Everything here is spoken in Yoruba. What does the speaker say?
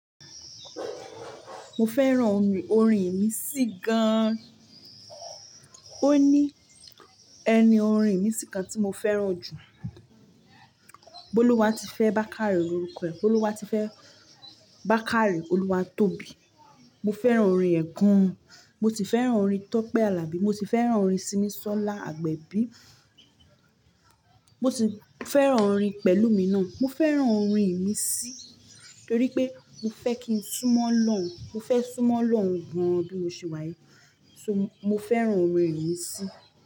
Mo fẹ́ràn orin Ìmísí gan. Ó ní ẹni orin Ìníṣí kan tí mo fẹ́ràn jù. Boluwatife Bakare lorúkọ ẹ̀. Boluwatife Bakare, Olúwatóbi. Mo fẹ́ràn orin ẹ̀ gan. Mo sì fẹ́ràn orin Tope Alabi. Mo sì fẹ́ràn orin Simisola Agbebii. Mo sì fẹ́ràn orin Pẹ̀lúmi náà. Mo fẹ́ràn orin Ìmísí torí pé mo fẹ́ kí n súmọ́ olọ́hun, mo fẹ́ súmọ́ olọ́hun gan bí mo ṣe wáyii. So mo fẹ́ràn orin Ìníṣí.